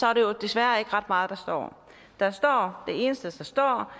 er det jo desværre ikke ret meget der står om det eneste der står